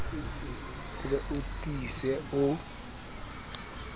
o be o tiise o